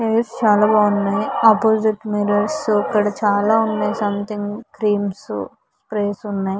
Hairs చాలా బాగున్నాయ్. Opposite mirrors ఇక్కడ చాలా ఉన్నాయ్ . సంథింగ్ క్రీమ్స్ స్ప్రేస్ ఉన్నాయ్.